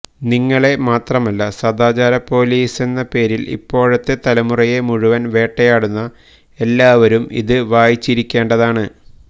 നിങ്ങള് മാത്രമല്ല സദാചാരപ്പൊലീസെന്ന പേരില് ഇപ്പോഴത്തെ തലമുറയെ മുഴുവന് വേട്ടയാടുന്ന എല്ലാവരും ഇത് വായിച്ചിരിക്കേണ്ടതാണ്